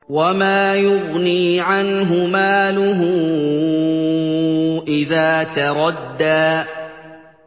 وَمَا يُغْنِي عَنْهُ مَالُهُ إِذَا تَرَدَّىٰ